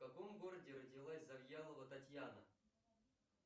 в каком городе родилась завьялова татьяна